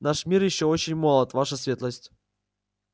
наш мир ещё очень молод ваша светлость